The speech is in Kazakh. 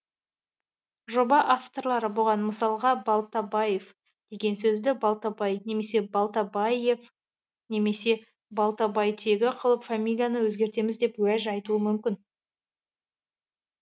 жоба авторлары бұған мысалға балтабаев деген сөзді балтабай немесе балтабайев немесе балтабайтегі қылып фамилияны өзгертеміз деп уәж айтуы мүмкін